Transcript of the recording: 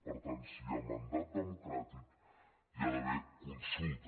per tant si hi ha mandat democràtic hi ha d’haver consulta